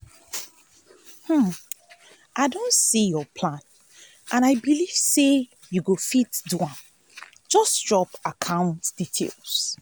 i don see your plan and i believe say you go fit do am. just drop your account details.